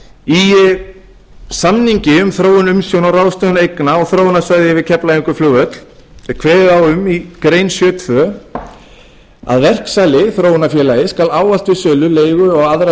í samningi um þróun umsjón og ráðstöfun eigna á þróunarsvæði við keflavíkurflugvöll er kveðið á um í grein sjötíu og tvö að verksali þróunarfélagið skal ávallt við sölu leigu og aðra